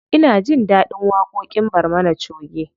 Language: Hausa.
Ina jin ɗaɗin waƙoƙin barmana choge.